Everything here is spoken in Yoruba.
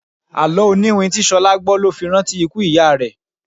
Àló oniwin tí Ṣolá gbó ló fi rántí ikú ìyá rẹ.